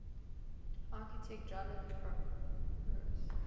architect jolyon brewis